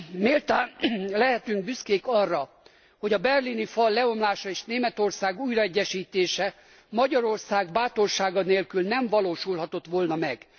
Méltán lehetünk büszkék arra, hogy a berlini fal leomlása és Németország újraegyesítése Magyarország bátorsága nélkül nem valósulhatott volna meg.